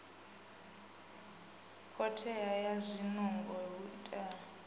khothea ha zwinungo hu itea